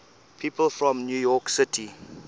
people from new york city